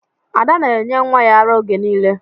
Ada na-enye nwa ya ara oge niile.